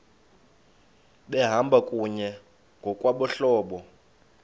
behamba kunye ngokwabahlobo